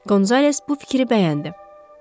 Qonzales bu fikri bəyəndi.